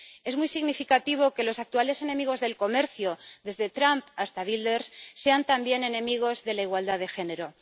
Es muy significativo que los actuales enemigos del comercio, desde Trump hasta Wilders, sean también enemigos de la igualdad de género.